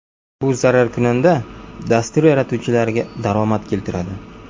Bu zararkunanda dastur yaratuvchilariga daromad keltiradi.